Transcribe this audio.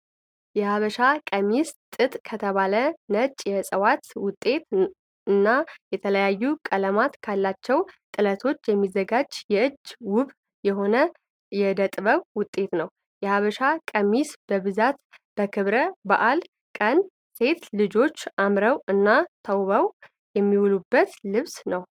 የሀበሻ ቀሚስ ጥጥ ከተባለ ነጭ የእፅዋት ውጤት እና የተለያዩ ቀለማት ካላቸው ጥለቶች የሚዘጋጅ እጅ ውብ የሆነ የእደጥበብ ውጤት ነው። የሀበሻ ቀሚስ በብዛት በክብረ በዓላት ቀን ሴት ልጆች አምረው እና ተውበው የሚውሉበት ልብስ ነው።